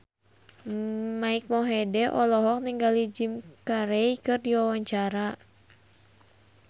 Mike Mohede olohok ningali Jim Carey keur diwawancara